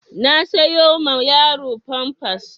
Na sayo ma yaro famfas